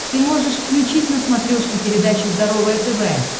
ты можешь включить на смотрешке передачу здоровое тв